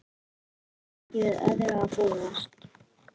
Enda ekki við öðru að búast